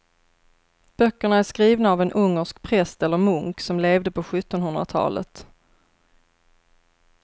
Böckerna är skrivna av en ungersk präst eller munk som levde på sjuttonhundratalet.